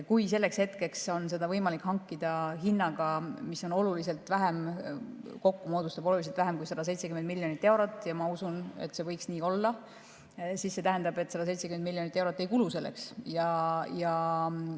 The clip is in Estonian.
Kui selleks hetkeks on seda võimalik hankida hinnaga, mis kokku moodustab oluliselt vähem kui 170 miljonit eurot – ja ma usun, et see võiks nii olla –, siis see tähendab, et 170 miljonit eurot selleks ei kulu.